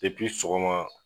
Depi sɔgɔma